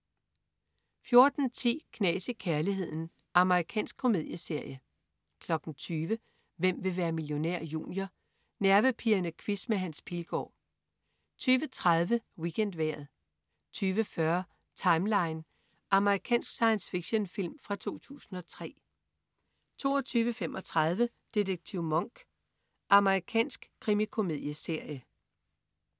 14.10 Knas i kærligheden. Amerikansk komedieserie 20.00 Hvem vil være millionær? Junior. Nervepirrende quiz med Hans Pilgaard 20.30 WeekendVejret 20.40 Timeline. Amerikansk science fiction-film fra 2003 22.35 Detektiv Monk. Amerikansk krimikomedieserie